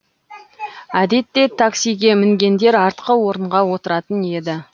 әдетте таксиге мінгендер артқы орынға отыратын еді